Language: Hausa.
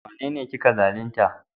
Wanene kika zalunta?